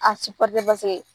A paseke